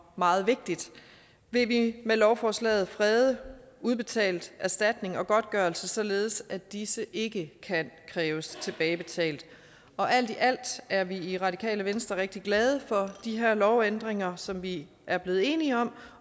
meget vigtigt vil vi med lovforslaget frede udbetalt erstatning og godtgørelse således at disse ikke kan kræves tilbagebetalt alt i alt er vi i radikale venstre rigtig glade for de her lovændringer som vi er blevet enige om